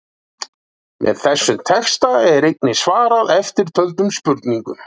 Með þessum texta er einnig svarað eftirtöldum spurningum: